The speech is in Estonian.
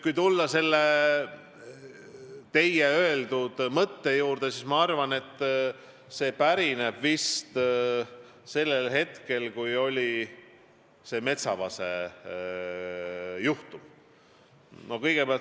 Kui tulla teie öeldud mõtte juurde, siis ma arvan, et see pärineb vist sellest ajast, kui oli see Metsavase juhtum.